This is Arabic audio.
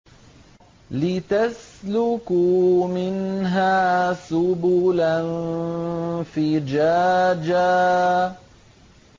لِّتَسْلُكُوا مِنْهَا سُبُلًا فِجَاجًا